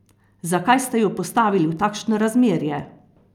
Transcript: Zakaj ste ju postavili v takšno razmerje?